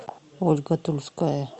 ольга тульская